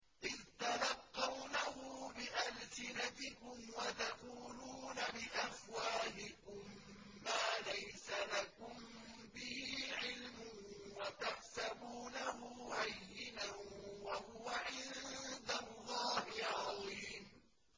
إِذْ تَلَقَّوْنَهُ بِأَلْسِنَتِكُمْ وَتَقُولُونَ بِأَفْوَاهِكُم مَّا لَيْسَ لَكُم بِهِ عِلْمٌ وَتَحْسَبُونَهُ هَيِّنًا وَهُوَ عِندَ اللَّهِ عَظِيمٌ